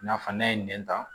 I n'a fɔ n'a ye nɛn ta